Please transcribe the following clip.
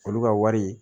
Olu ka wari